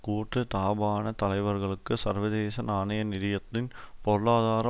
கூட்டுத்தாபானத் தலைவர்களுக்கு சர்வதேச நாணய நிதியத்தின் பொருளாதார